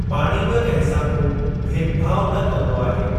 पाणी बि कंहिं सां को भेदभाउ न कंदो आहे।